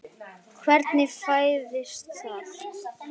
Hvernig fæðist það?